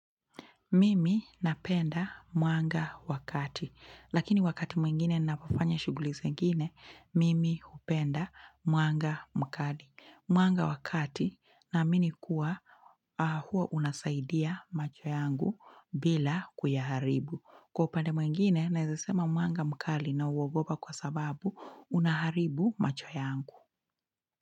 Mimi napenda mwanga wa kati, lakini wakati mwingine ninapofanya shughuli zengine, mimi hupenda mwanga mkali. Mwanga wa kati naamini kuwa huo unasaidia macho yango bila kuyaharibu. Kwa upande mwingine, naeza sema mwanga mkali nauogopa kwa sababu unaharibu macho yangu.